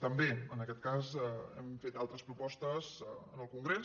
també en aquest cas hem fet altres propostes en el congrés